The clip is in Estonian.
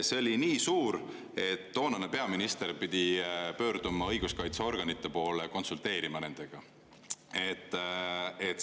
See oli nii suur, et toonane peaminister pidi pöörduma õiguskaitseorganite poole, konsulteerima nendega.